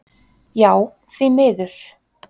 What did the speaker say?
Já því miður.